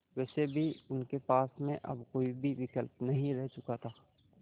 वैसे भी उनके पास में अब कोई भी विकल्प नहीं रह चुका था